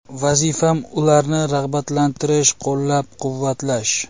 Vazifam ularni rag‘batlantirish, qo‘llab-quvvatlash.